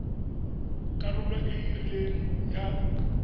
karolo e e rileng ya